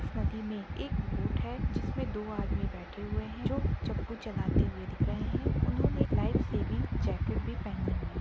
नदी में एक बोट है जिसमे दो आदमी बैठे हुए है जो चप्पू चलाते हुए दिख रहे हैं उन्होंने लाइफ सेविंग जैकेट भी पहनी हुई--